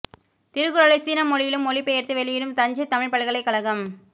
திருக்குறளை சீன மொழியிலும் மொழி பெயர்த்து வெளியிடும் தஞ்சைத் தமிழ்ப் பல்கலைக் கழகம்